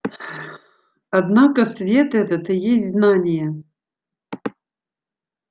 однако свет этот и есть знание